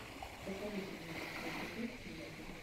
посоветуй мне лучший эпизод тимати